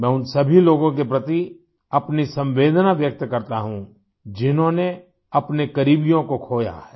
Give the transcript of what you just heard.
मैं उन सभी लोगों के प्रति अपनी संवेदना व्यक्त करता हूँ जिन्होंने अपने करीबियों को खोया है